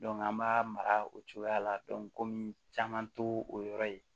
an b'a mara o cogoya la komi caman t'o yɔrɔ ye